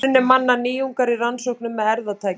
Uppruni manna: Nýjungar í rannsóknum með erfðatækni.